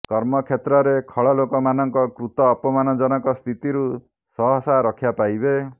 କର୍ମକ୍ଷେତ୍ରରେ ଖଳ ଲୋକ ମାନଙ୍କ କୃତ ଅପମାନଜନକ ସ୍ଥିତିରୁ ସହସା ରକ୍ଷା ପାଇବେ